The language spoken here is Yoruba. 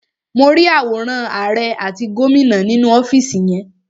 Mo rí àwòrán àrẹ àti gómìnà ni ọ́fìsì yẹn.